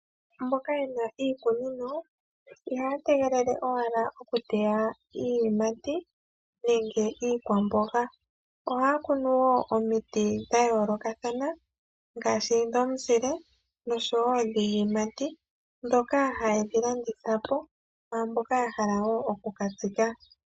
Mboka ye na iikunino, ihaya tegelele wala okuteya iiyimati nenge iikwamboga. Ohaya kunu wo omiti dha yoolokathana ngaashi dhomuzile nosho wo dhiiyimati ndhoka haye dhi landitha po kwaamboka ya hala wo okukatsika.